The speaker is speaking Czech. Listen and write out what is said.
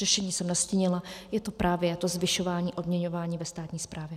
Řešení jsem nastínila - je to právě to zvyšování odměňování ve státní správě.